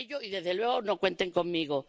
desde luego, no cuenten conmigo.